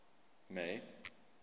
may